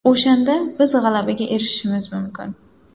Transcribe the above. O‘shanda biz g‘alabaga erishishimiz mumkin.